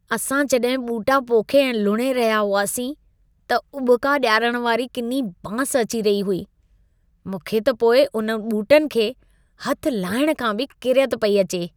असां जॾहिं ॿूटा पोखे ऐं लुणे रहिया हुआसीं, त उॿिका ॾियारण वारी किनी बांस अची रही हुई। मूंखे त पोइ उन ॿूटनि खे हथ लाइण खां बि किरियत पेई अचे।